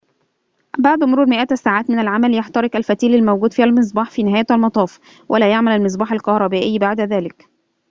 بعد مرور مئات الساعات من العمل يحترق الفتيل الموجود في المصباح في نهاية المطاف ولا يعمل المصباح الكهربائي بعد ذلك